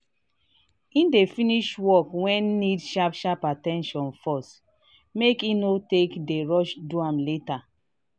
he dey finsih work wen need sharp sharp at ten tion first make he no take dey rush do am later.